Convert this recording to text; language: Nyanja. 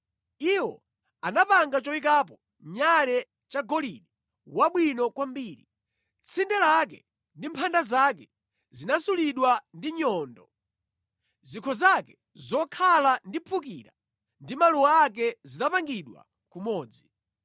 Iwo anapanga choyikapo nyale chagolide wabwino kwambiri. Tsinde lake ndi mphanda zake zinasulidwa ndi nyundo. Zikho zake zokhala ndi mphukira ndi maluwa ake zinapangidwa kumodzi.